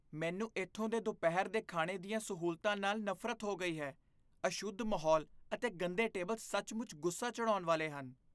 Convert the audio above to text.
ਮੈਨੂੰ ਇੱਥੋਂ ਦੇ ਦੁਪਹਿਰ ਦੇ ਖਾਣੇ ਦੀਆਂ ਸਹੂਲਤਾਂ ਨਾਲ ਨਫ਼ਰਤ ਹੋ ਗਈ ਹੈ ਅਸ਼ੁੱਧ ਮਾਹੌਲ ਅਤੇ ਗੰਦੇ ਟੇਬਲ ਸੱਚਮੁੱਚ ਗੁੱਸਾ ਚੜ੍ਹਾਉਣ ਵਾਲੇ ਹਨ